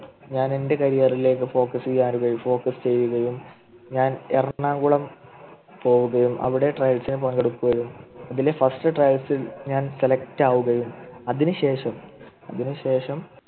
ഞാനെൻ്റെ Career ലേക്ക് Focus ചെയ്യുന്നത് Focus ചെയ്യുകായും ഞാൻ എറണാകുളം പോവുകയും അവിടെ Trails ൽ പങ്കെടുക്കുകയും First trails ൽ ഞാൻ Select ആവുകയും അതിനുശേഷം അതിനുശേഷം